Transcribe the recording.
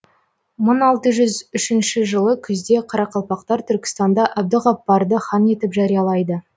мың алты жүз үшінші жылы күзде қарақалпақтар түркістанда әбдіғаппарды хан етіп жариялайды